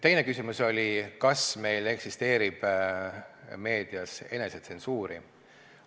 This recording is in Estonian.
Teine küsimus oli, kas meil eksisteerib meedias enesetsensuuri.